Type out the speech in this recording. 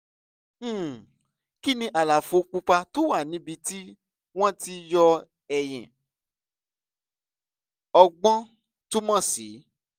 um kí ni àlàfo pupa tó wà níbi tí wọ́n ti yọ eyín ọgbọ́n túmọ̀ sí?